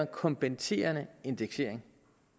kompenserende indeksering